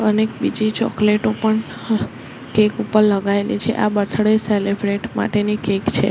અનેક બીજી ચોકલેટો પણ કેક ઉપર લગાવેલી છે આ બર્થડે સેલિબ્રેટ માટેની કેક છે.